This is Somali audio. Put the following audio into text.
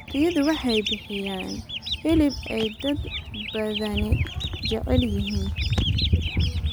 Riyadu waxay bixiyaan hilib ay dad badani jecel yihiin.